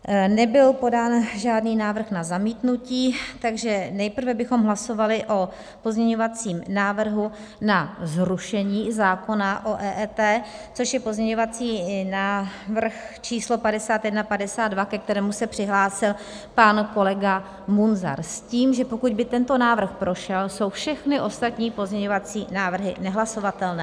Nebyl podán žádný návrh na zamítnutí, takže nejprve bychom hlasovali o pozměňovacím návrhu na zrušení zákona o EET, což je pozměňovací návrh číslo 5152, ke kterému se přihlásil pan kolega Munzar, s tím, že pokud by tento návrh prošel, jsou všechny ostatní pozměňovací návrhy nehlasovatelné.